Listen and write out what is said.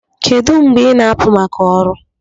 Kedu mgbe ị na-apụ maka ọrụ?